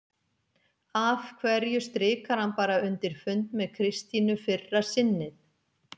Af hverju strikar hann bara undir fund með Kristínu fyrra sinnið?